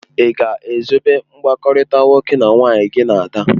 Ị ga-ezobe mkpakọrịta nwoke na nwaanyị gị na Ada?.